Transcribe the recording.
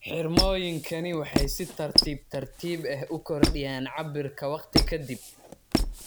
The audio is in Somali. Xirmooyinkani waxay si tartiib tartiib ah u kordhiyaan cabbirka waqti ka dib.